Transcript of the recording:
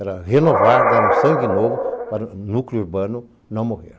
Era renovar, dar um sangue novo para o núcleo urbano não morrer.